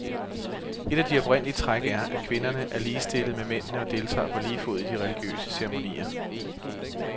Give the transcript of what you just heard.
Et af de oprindelige træk er, at kvinderne er ligestillet med mændene og deltager på lige fod i de religiøse ceremonier.